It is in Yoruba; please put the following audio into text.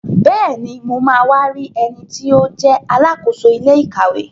Bẹ́ẹ̀ni, mo ma wá rí ẹniti ó jẹ́ Alákóso ilé ìkàwé